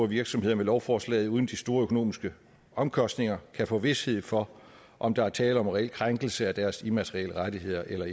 virksomheder med lovforslaget uden de store økonomiske omkostninger kan få vished for om der er tale om reel krænkelse af deres immaterielle rettigheder eller